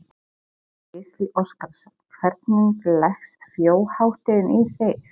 Gísli Óskarsson: Hvernig leggst þjóðhátíðin í þig?